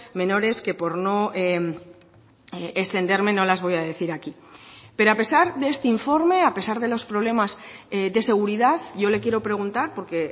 menores que por no extenderme no las voy a decir aquí pero a pesar de este informe a pesar de los problemas de seguridad yo le quiero preguntar porque